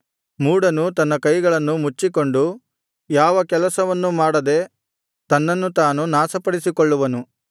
ಮೂಢನು ತನ್ನ ಕೈಗಳನ್ನು ಮುಚ್ಚಿಕೊಂಡು ಯಾವ ಕೆಲಸವನ್ನು ಮಾಡದೆ ತನ್ನನ್ನು ತಾನು ನಾಶಪಡಿಸಿಕೊಳ್ಳುವನು